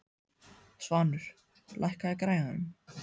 Svanur, lækkaðu í græjunum.